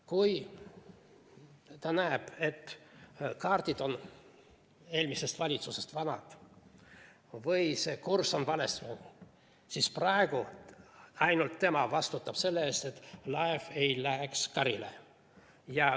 Kui ta näeb, et kaardid on eelmisest valitsusest, vanad, või et see kurss on vale, siis praegu ainult tema vastutab selle eest, et laev ei läheks karile.